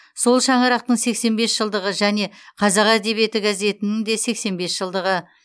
сол шаңырақтың сексен бес жылдығы және қазақ әдебиеті газетінің де сексен бес жылдығы